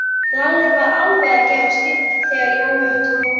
Lalli var alveg að gefast upp þegar Jói hrópaði